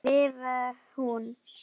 skrifar hún.